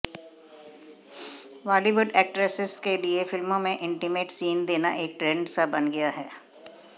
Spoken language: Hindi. बॉलीवुड एक्ट्रेसेस के लिए फिल्मों में इंटीमेट सीन देना एक ट्रेंड सा बन गया है